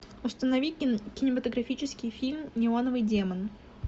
установи кинематографический фильм неоновый демон